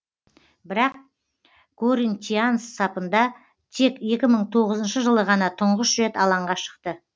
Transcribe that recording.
бірақ коринтианс сапында тек екі мың тоғызыншы жылы ғана тұңғыш рет алаңға шықты